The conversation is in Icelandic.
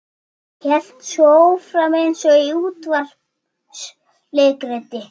Hélt svo áfram eins og í útvarpsleikriti